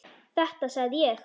Þetta sagði ég.